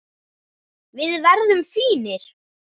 Við verðum fínir.